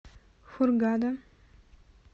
хургада